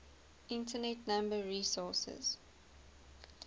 internet number resources